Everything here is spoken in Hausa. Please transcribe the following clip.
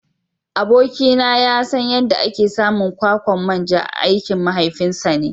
Abokina ya san yadda ake samun kwakwan manja aikin mahaifinsa ne.